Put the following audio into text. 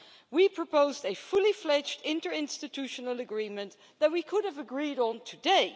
We proposed a fully-fledged interinstitutional agreement that we could have agreed on today.